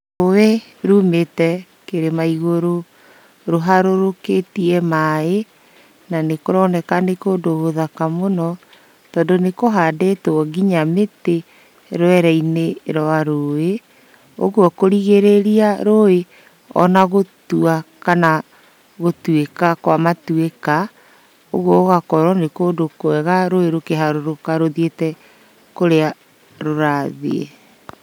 Rũĩ rumĩte kĩrĩma igũrũ rũharũrũkĩtie maaĩ na nĩkũroneka nĩ kũndũ gũthaka mũno tondũ nĩkũhandĩtwo nginya mĩtĩ rwereinĩ rwa rũĩ. Ũguo kũrigĩrĩria rũĩ ona gũtua kana gũtuĩka kwa matuĩka ũguo gũgakorwo nĩ kũndũ kwega rũĩ rũkĩharũrũka rũthiĩte kũrĩa rũrathiĩ.